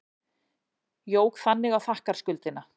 Jók þannig á þakkarskuldina.